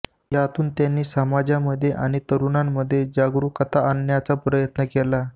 यातून त्यांनी समाजामध्ये आणि तरुणांमध्ये जागृकता आणण्याचा प्रयत्न केला